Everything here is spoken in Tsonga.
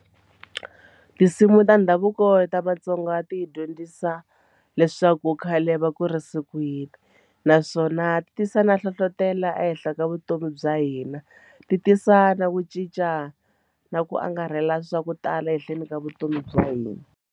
Tinsimu ta ndhavuko ta Vatsonga ti dyondzisa leswaku khale va kurise naswona ti tisa na nhlohlotelo ehenhla ka vutomi bya hina ti tisa na ku cinca na ku angarhela swa ku tala ehenhleni ka vutomi bya hina.